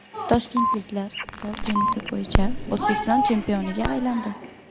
Toshkentliklar stol tennisi bo‘yicha O‘zbekiston chempioniga aylandi.